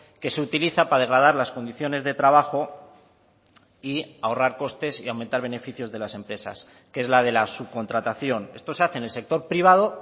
que se utiliza para degradar las condiciones de trabajo y ahorrar costes y aumentar beneficios de las empresas que es la de la subcontratación esto se hace en el sector privado